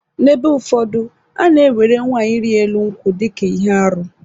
N’ebe ụfọdụ, a na-ewere nwaanyị ịrị elu nkwụ dị ka ihe arụ.